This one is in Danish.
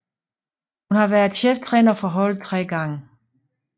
Hun har været cheftræner for holdet tre gange